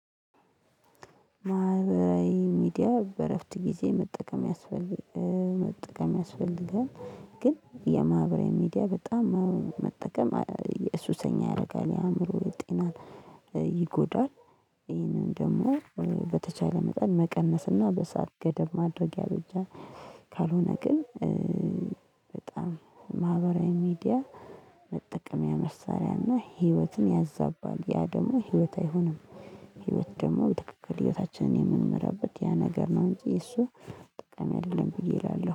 ማህበራዊ ሚዲያ በእረፍት ጊዜ መጠቀም ያስፈል መጠቀም ያስፈልጋል። ግን የማህበራዊ ሚዲያ በጣም መጠቀም የሱሰኛ ያደርጋል የአእምሮ ጤናን ይጎዳል። ይህንን ደግሞ በተቻለ መጠን መቀነስና በሰአት ገደብ ማድረግ ያበጃል። ካልሆነ ግን በጣም ማህበራዊ ሚዲያመጠቀሚያ መሳሪያና ህይወትን ያዛባል ያ ደግሞ ህይወት አይሆንም። ህይወት ደግሞ በትክክል ህይወታችንን የምንመራበት ያ ነገር ነው እንጂ እሱ ጠቃሚ አይደለም ብዬ እላለሁ